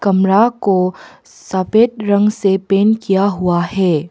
को सफेद रंग से पेन्ट किया हुआ है।